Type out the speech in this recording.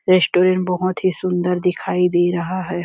Restaurant बहुत ही सुंदर दिखाई दे रहा है।